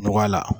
Nɔgɔya la